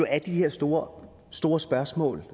er de her store store spørgsmål